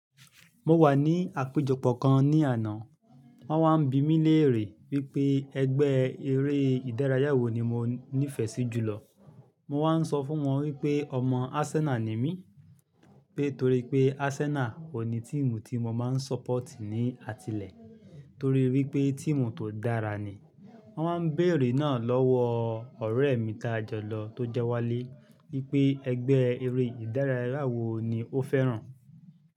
Mo wà ní àpéjọpọ̀ kan ní àná, wón wá ń bi mí léèrè wípé ẹgbẹ́ eré ìdárayá wo ni mo nífẹ̀ẹ́ sí jù lọ. Mo wá ń sọ fún wọn wípé ọmọ Arsenal ni mí, pé torí pé Arsenal òní tíìmu tí mo máa ń ṣọ́pọ̀tì ní àtilẹ̀ torí wí pé tíìmu tó dára ni. Wón wá ń béèrè náà lọ́wọ́ ọ̀rẹ́ mi dájọ lọ tó jẹ́ walé wípé ẹgbẹ́ eré ìdárayá wo ni ó fẹ́ràn.